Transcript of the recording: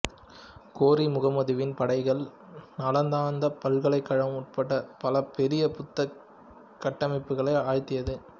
கோரி முகமதுவின் படைகள் நாளந்தா பல்கலைக்கழகம் உட்பட பல பெரிய புத்த கட்டமைப்புகளை அழித்தது